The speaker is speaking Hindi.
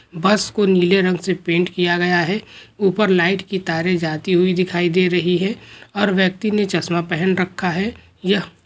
बस को नीले रंग से पेंट किया गया है ऊपर लाइट की तारें जाती हुई दिखाई दे रही है। और व्यक्ति ने चश्मा पहन रखा है। यह--